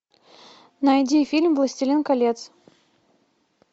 найди фильм властелин колец